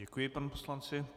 Děkuji panu poslanci.